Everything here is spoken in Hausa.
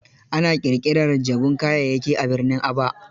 Ana ƙirƙirar jabun kayayyaki a birnin Aba.